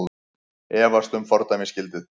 Efast um fordæmisgildið